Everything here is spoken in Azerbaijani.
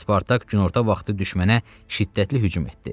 Spartak günorta vaxtı düşmənə şiddətli hücum etdi.